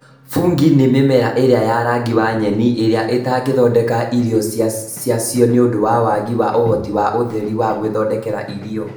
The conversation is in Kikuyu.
Fungi ni mĩmera ĩrĩa ya rangi wa nyeni ĩrĩa itangĩthondeka iria ciacio nĩũndũ wa wagi wa ũhoti wa ũtheri wa gwĩthondekera irio